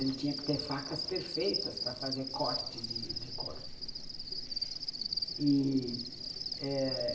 Ele tinha que ter facas perfeitas para fazer corte de de couro e, é